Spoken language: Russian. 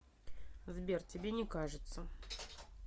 сбер тебе не кажется